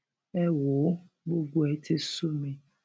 ẹ wò ó gbogbo ẹ ti sú mi